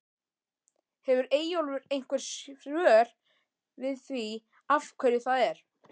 Hefur Eyjólfur einhver svör við því af hverju það er?